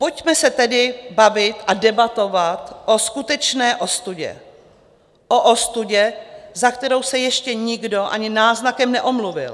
Pojďme se tedy bavit a debatovat o skutečné ostudě, o ostudě, za kterou se ještě nikdo ani náznakem neomluvil.